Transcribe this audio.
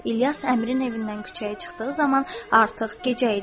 İlyas əmrin evindən küçəyə çıxdığı zaman artıq gecə idi.